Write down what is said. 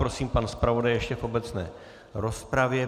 Prosím, pan zpravodaj ještě v obecné rozpravě.